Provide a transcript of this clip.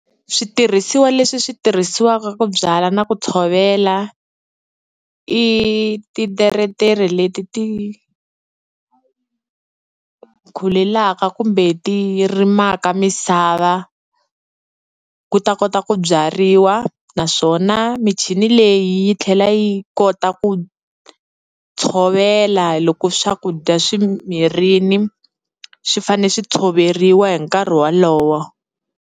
Switirhisiwa leswi swi tirhisiwaka ku byala na ku tshovela, i titeretere leti ti khulelaka kumbe ti rimaka misava ku ta kota ku byariwa, naswona michini leyi yi tlhela yi kota ku tshovela loko swakudya swi mirini swi fanele swi tshoveriwa hi nkarhi wolowo.